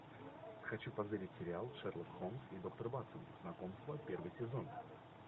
хочу позырить сериал шерлок холмс и доктор ватсон знакомство первый сезон